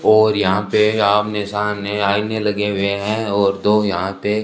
और यहां पे आमने सामने आईने लगे हुए हैं और दो यहां पे--